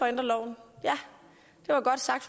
ændre loven ja det var godt sagt